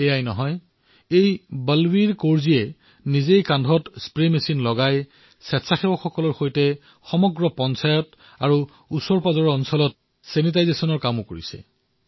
এয়াই নহয় বলবীৰ কৌৰজীয়ে নিজৰ কান্ধত স্প্ৰে পাম্প কঢ়িয়াই স্বেচ্ছাসেৱীসকলৰ সৈতে লগ হৈ সমগ্ৰ পঞ্চায়ততে নিকটৱৰ্তী স্থানসমূহত ছেনিটাইজেছনৰ কামো কৰিছে